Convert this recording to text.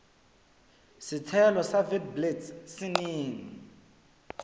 setshelo sa witblits se neng